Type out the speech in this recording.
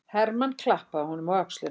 Hermann klappaði honum á öxlina.